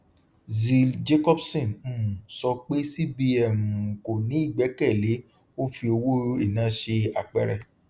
zeal jacobson um sọ pé cbn um kò ní ìgbẹkẹlé ó fi owó iná ṣe àpẹẹrẹ